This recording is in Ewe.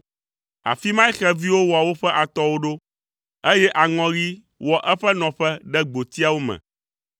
Afi mae xeviwo wɔ woƒe atɔwo ɖo, eye aŋɔɣi wɔ eƒe nɔƒe ɖe gbotiwo me.